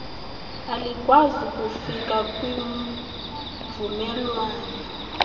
alikwazi kufika kwimvumelwano